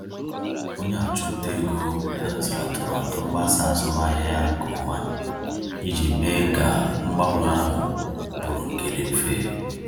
Onye ọchụnta ego haziri atụmatụ mgbasa azụmahịa ya nke ọma iji mee ka mgbanwe ahụ bụrụ nke dị mfe.